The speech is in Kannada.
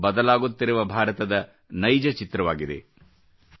ಇದು ಬದಲಾಗುತ್ತಿರುವ ಭಾರತದ ನೈಜ ಚಿತ್ರವಾಗಿದೆ